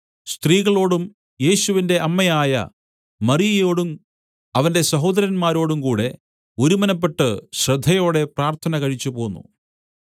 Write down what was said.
സ്ത്രീകളോടും യേശുവിന്റെ അമ്മയായ മറിയയോടും അവന്റെ സഹോദരന്മാരോടും കൂടെ ഒരുമനപ്പെട്ട് ശ്രദ്ധയോടെ പ്രാർത്ഥന കഴിച്ചുപോന്നു